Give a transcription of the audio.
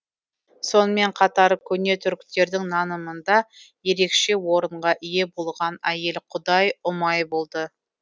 сонымен қатар көне түріктердің нанымында ерекше орынға ие болған әйел құдай ұмай болды